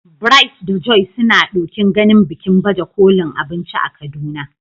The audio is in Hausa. Bright da Joy suna ɗokin ganin bikin baje kolin abinci a Kaduna.